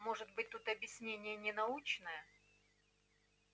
может быть тут объяснение не научное